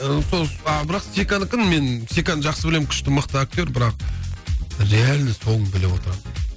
сол бірақ секанікін мен секаны жақсы білемін күшті мықты актер бірақ реально соңын біліп отырамын